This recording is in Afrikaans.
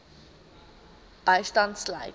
bystand sluit